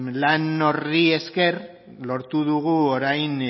lan horri esker lortu dugu orain